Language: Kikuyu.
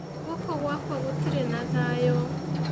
Gũkũ gwakwa gũtirĩ na thayũ